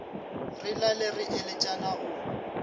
re lale re eletšana o